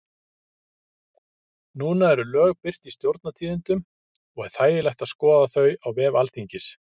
Núna eru lög birt í Stjórnartíðindum og er þægilegt að skoða þau á vef Alþingis.